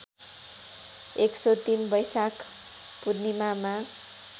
१०३ बैशाख पूर्णीमामा